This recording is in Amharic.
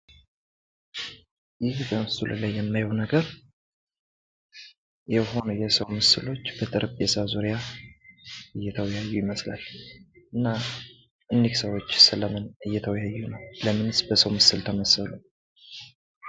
ይህ በምስሉ ላይ የማየው ነገር የሰው ምስሎች በጠረጴዛ ዙሪያ እየተወያዩ ይመስላል እና እኒህ ሰዎች ስለምን እየተወያዩ ነው? ለምንስ በሰው ምስል ተመሰሉ?